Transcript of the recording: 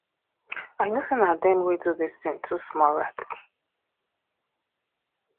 i know say na dem wey do dis thing two small rats